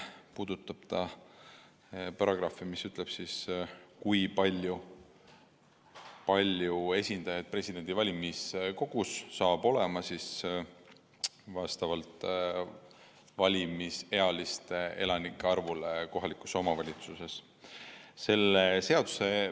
See puudutab paragrahvi, mis ütleb, kui palju esindajaid saab Vabariigi Presidendi valimisel valimiskogus olla vastavalt kohaliku omavalitsuse valimisealiste elanike arvule.